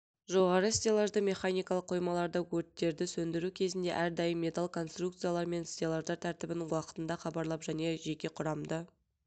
жоғары стеллажды механикалық қоймаларда өрттерді сөндіру кезінде әрдайым металл конструкциялар мен стеллаждар тәртібін уақытында хабарлап және жеке құрамды